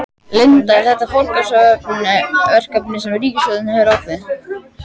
Linda, er þetta forgangsverkefni sem ríkisstjórnin hefur ákveðið?